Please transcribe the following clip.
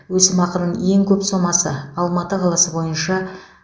өсімақының ең көп сомасы алматы қаласы бойынша